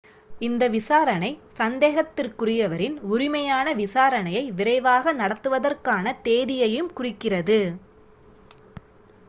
இந்த விசாரணை சந்தேகத்திற்குரியவரின் உரிமையான விசாரணையை விரைவாக நடத்துவதற்கான தேதியையும் குறிக்கிறது